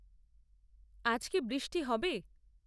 আজ কি বষ্টি হবে?